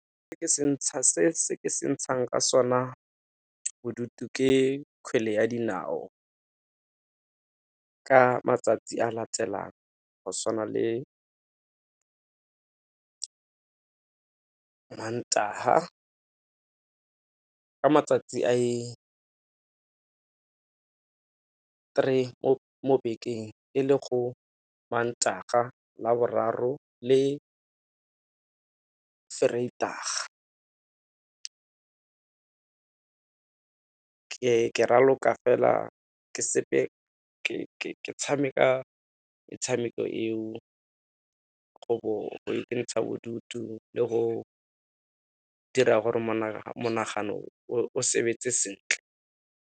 Se ke se ntshang ka sona bodutu ke kgwele ya dinao, ka matsatsi a latelang go tshwana le mantaha ka matsatsi a i-three mo bekeng e le go mantaha, laboraro le vrydag-a. Ke raloka fela, ke tshameka metshameko eo go ikentsha bodutu le go dira gore monagano o sebetse sentle.